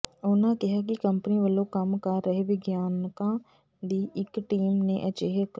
ਉਨ੍ਹਾਂ ਕਿਹਾ ਕਿ ਕੰਪਨੀ ਵੱਲੋਂ ਕੰਮ ਕਰ ਰਹੇ ਵਿਗਿਆਨਕਾਂ ਦੀ ਇਕ ਟੀਮ ਨੇ ਅਜਿਹੇ ਕ